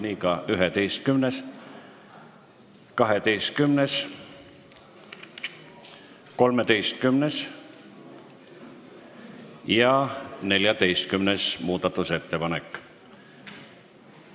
Nii on ka 11., 12., 13. ja 14. muudatusettepanekuga.